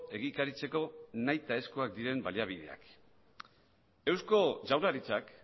egikaritzeko nahitaezkoak diren baliabideak eusko jaurlaritzak